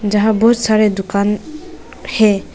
यहां बहुत सारे दुकान है।